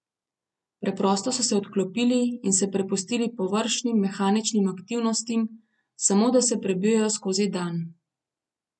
Preprosto so se odklopili in se prepustili površnim, mehaničnim aktivnostim, samo da se prebijejo skozi dan.